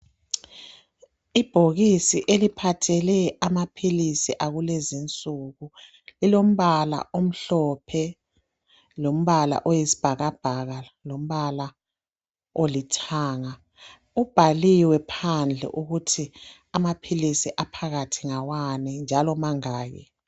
Ibhokisi eliphathele amaphilisi akulezinsuku lilombala omhlophe lombala oyisibhakabhaka lombala olithanga kubhaliwe phandle ukuthi amaphilisi aphakathi ngawani njalo mangaki.